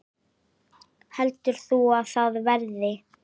Heldur þú að það verði?